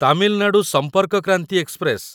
Tamil Nadu Sampark Kranti express